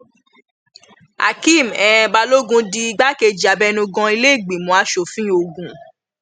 akéem um balógun di igbákejì abẹnugan iléìgbìmọ asòfin ogun